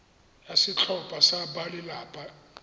ya setlhopha sa balelapa e